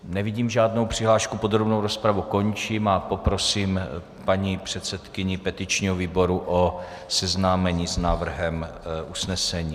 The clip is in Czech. Nevidím žádnou přihlášku, podrobnou rozpravu končím a poprosím paní předsedkyni petičního výboru o seznámení s návrhem usnesení.